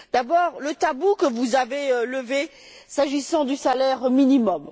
D'abord, le tabou que vous avez levé s'agissant du salaire minimum.